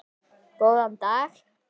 Góðan dag.